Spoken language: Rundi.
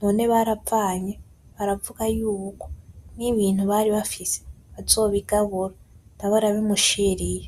none baravanye, baravuga yuko n'ibintu bari bafise bazobigabura , nawe arabimushiriye.